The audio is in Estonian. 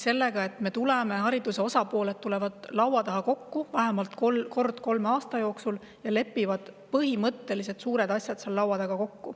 Seda, et vähemalt kord kolme aasta jooksul tulevad haridusvaldkonna osapooled laua taha kokku ja lepivad kokku põhimõttelistes ja suurtes asjades.